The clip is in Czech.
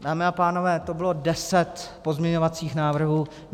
Dámy a pánové, to bylo deset pozměňovacích návrhů.